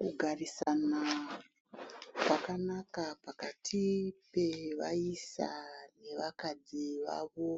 Kugarisana zvakanaka pakati pevaisa nevakadzi vavo